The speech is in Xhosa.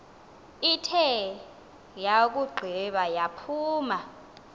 ithe yakugqiba yaphuma